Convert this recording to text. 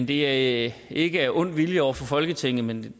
det er ikke af ond vilje over for folketinget men